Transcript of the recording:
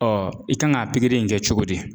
Ɔ i kan ka pikiri in kɛ cogo di.